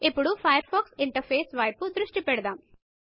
ఇప్పుడు Firefox interface వైపు దృష్టి పెడదాం